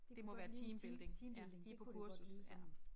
Det kunne godt ligne team teambuilding det kunne godt lyde sådan